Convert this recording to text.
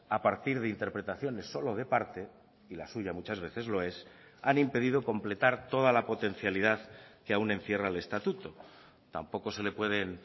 a partir de interpretaciones solo de parte y la suya muchas veces lo es han impedido completar toda la potencialidad que aún encierra el estatuto tampoco se le pueden